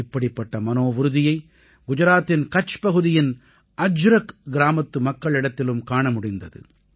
இப்படிப்பட்ட மனோவுறுதியை குஜராத்தின் கட்ச் பகுதியின் அஜ்ரக் கிராமத்து மக்களிடத்திலும் காண முடிந்தது